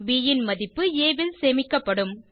ப் ன் மதிப்பு ஆ ல் சேமிக்கப்படும்